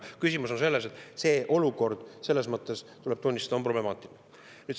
Küsimus on selles, et see olukord selles mõttes, tuleb tunnistada, on problemaatiline.